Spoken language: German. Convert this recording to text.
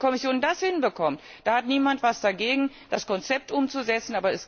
Wenn die Kommission das hinbekommt, dann hat niemand etwas dagegen, das Konzept umzusetzen.